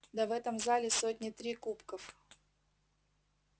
да в этом зале сотни три кубков